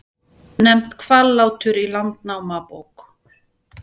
Nefnt Hvallátur í Landnámabók.